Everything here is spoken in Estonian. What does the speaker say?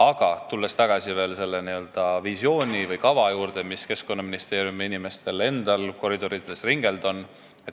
Aga tulen tagasi selle visiooni või kava juurde, mis Keskkonnaministeeriumi koridorides ringelnud on.